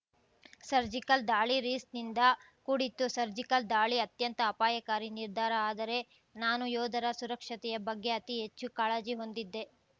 surgical ದಾಳಿ ರಿಸ್ನಿಂದ ಕೂಡಿತ್ತು ಸರ್ಜಿಕಲ್‌ ದಾಳಿ ಅತ್ಯಂತ ಅಪಾಯಕಾರಿ ನಿರ್ಧಾರ ಆದರೆ ನಾನು ಯೋಧರ ಸುರಕ್ಷತೆಯ ಬಗ್ಗೆ ಅತಿ ಹೆಚ್ಚು ಕಾಳಜಿ ಹೊಂದಿದ್ದೆ